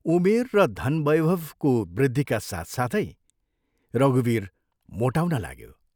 उमेर र धनवैभको वृद्धिका साथसाथै रघुवीर मोटाउन लाग्यो।